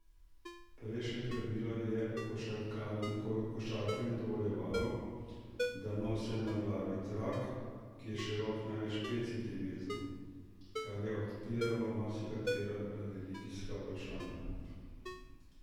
Prejšnje pravilo je košarkarjem dovoljevalo, da nosijo na glavi trak, ki je širok največ pet centimetrov, kar je odpiralo marsikatera religijska vprašanja.